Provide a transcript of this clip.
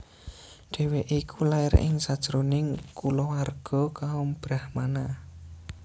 Dhèwèké iku lair ing sajroning kulawarga kaum brahmana